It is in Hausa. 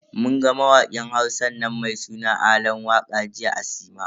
Mun ga mawakin Hausan nan mai suna Alan waka jiya a sinima.